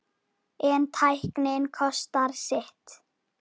En tæknin kostar sitt.